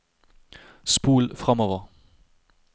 spol framover